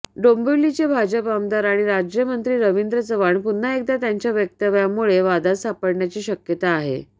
डोंबिवलीचे भाजप आमदार आणि राज्यमंत्री रवींद्र चव्हाण पुन्हा एकदा त्यांच्या वक्तव्यामुळे वादात सापडण्याची शक्यता आहे